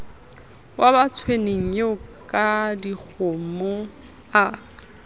wa batsoeneng eo kadikgomo a